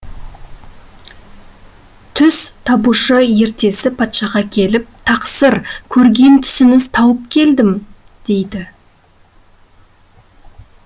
түс табушы ертесі патшаға келіп тақсыр көрген түсіңізді тауып келдім дейді